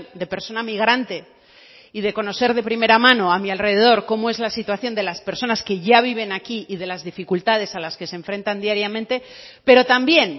de persona migrante y de conocer de primera mano a mi alrededor como es la situación de las personas que ya viven aquí y de las dificultades a las que se enfrentan diariamente pero también